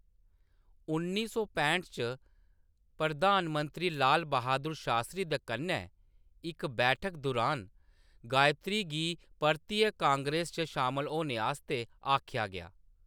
उन्नी सौ पैंह्ट च, प्रधान मंत्री लाल बहादुर शास्त्री दे कन्नै इक बैठक दुरान, गायत्री गी परतियै कांग्रेस च शामल होने आस्तै आखेआ गेआ।